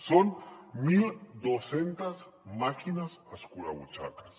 són mil dos cents màquines escurabutxaques